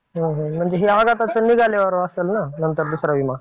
म्हणजे हे आघाताचा निघाल्यावर असेल ना नंतर दुसरा विमा?